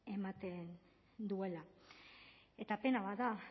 ematen duela eta pena bat da